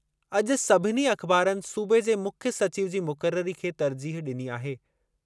अॼु सभिनी अख़बारनि सूबे जे मुख्य सचिव जी मुक़ररी खे तर्जीह डि॒नी आहे।